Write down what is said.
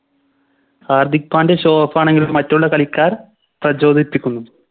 Hardik Pandya Show off ആണെങ്കിൽ മറ്റുള്ളകളിക്കാർ പ്രചോദിപ്പിക്കുന്നു